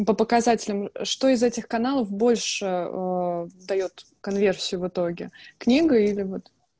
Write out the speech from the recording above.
по показателям что из этих каналов больше даёт конверсию в итоге книга или вот